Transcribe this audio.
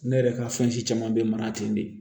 Ne yɛrɛ ka fɛn si caman bɛ mara ten de